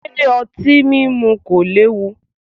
Ṣé otin mímú kò léwu?